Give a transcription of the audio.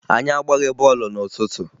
Anyị agbaghị bọọlụ n'ụtụtụ